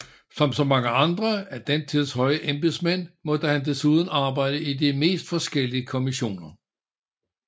Som så mange andre af den tids høje embedsmænd måtte han desuden arbejde i de mest forskellige kommissioner